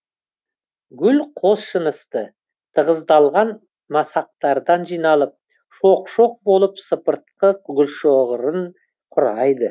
шоқ шоқ болып сыпыртқы гүлшоғырын құрайды